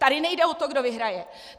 Tady nejde o to, kdo vyhraje!